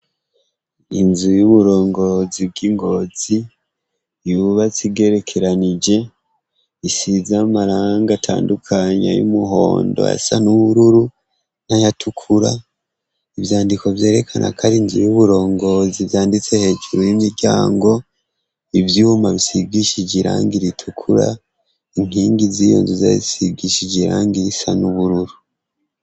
Inzu y'uburongozi bw'i Ngozi yubatse igerekeranije. Isize amarangi atandukanya, y'umuhondo, ayasa n'ubururu n'ayatukura. Ivyandiko vyerekanako ar'inzu y'uburongo, vyanditse hejuru y'imiryango. Ivyuma bisigishije irangi ritukura. Inkingi z'iyo nzu zisigishije irangi risa n'ubururu.